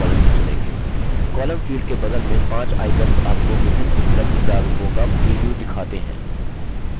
columns field के बगल में पाँच icons आपको विभिन्न उपलब्ध प्रारूपों का प्रिव्यू दिखाते हैं